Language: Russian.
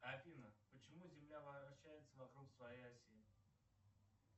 афина почему земля вращается вокруг своей оси